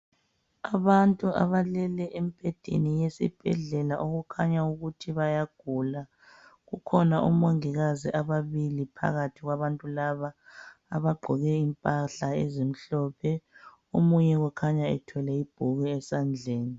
Abantu abalele embhedeni yesibhedlela okukhanya ukuthi bayagula. Kukhona omongikazi ababili phakathi kwabantu laba abagqoke impahla ezimhlophe. Omunye ukhanya ethwele ibhuku esandleni.